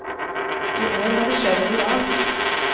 I år har det skjedd noe rart.